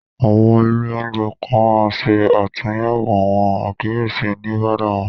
Àwọn ilé-oúnjẹ kan máa n se àtúnyẹwò àwọn àkíyèsí oníbárà wọn.